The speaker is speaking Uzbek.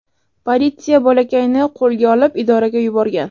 Politsiya bolakayni qo‘lga olib idoraga yuborgan.